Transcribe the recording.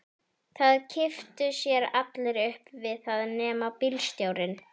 Það kipptu sér allir upp við það nema bílstjórinn.